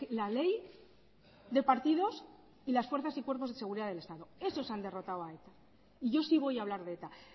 la ley de partidos y las fuerzas y cuerpos de seguridad del estado esos han derrotado a eta y yo sí voy a hablar de eta